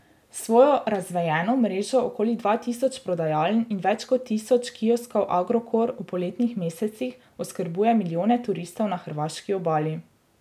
S svojo razvejeno mrežo okoli dva tisoč prodajaln in več kot tisoč kioskov Agrokor v poletnih mesecih oskrbuje milijone turistov na hrvaški obali.